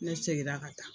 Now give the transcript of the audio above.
Ne seginna ka taa